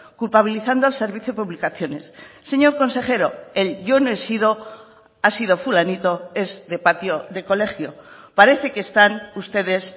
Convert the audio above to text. culpabilizando al servicio publicaciones señor consejero el yo no he sido ha sido fulanito es de patio de colegio parece que están ustedes